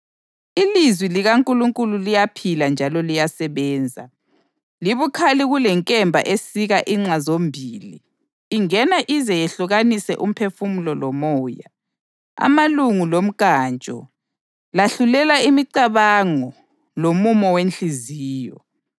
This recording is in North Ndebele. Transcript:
Ilizwi likaNkulunkulu liyaphila njalo liyasebenza. Libukhali kulenkemba esika inxa zombili, ingena ize yehlukanise umphefumulo lomoya, amalunga lomnkantsho; lahlulela imicabango lomumo wenhliziyo.